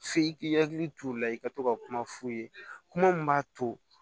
F'i k'i hakili t'o la i ka to ka kuma f'u ye kuma min b'a to